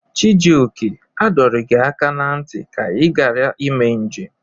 Chijioke, a dọrọ gị aka na ntị ka ị ghara ime njem!